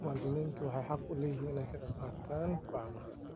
Muwaadiniintu waxay xaq u leeyihiin inay ka qayb qaataan go'aamada.